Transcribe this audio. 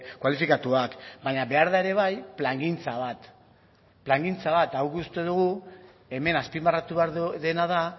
kualifikatuak baina behar da ere bai plangintza bat eta guk uste dugu hemen azpimarratu behar dena da